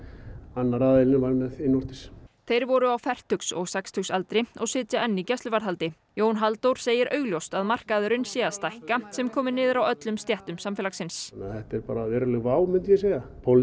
annar aðilinn var með innvortis þeir voru á fertugs og sextugsaldri og sitja enn í gæsluvarðhaldi Jón Halldór segir augljóst að markaðurinn sé að stækka sem komi niður á öllum stéttum samfélagsins þetta er bara veruleg vá myndi ég segja